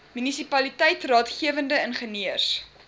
munisipaliteit raadgewende ingenieurs